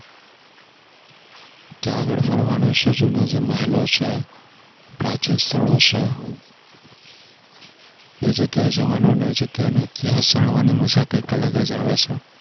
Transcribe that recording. ત્યાં આગળ ફરવાનું છે. જૂના જે મહેલો છે, પ્રાચીન સ્થળો છે, એ જગ્યાએ જવાનો અને એ જગ્યાનો ઇતિહાસ જાણવાની મજા જ કઈક અલગ આવે છે.